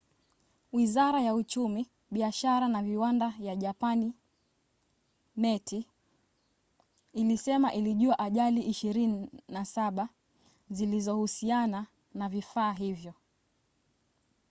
wizara ya uchumi biashara na viwanda ya japani meti ilisema ilijua ajali 27 zilizohusiana na vifaa hivyo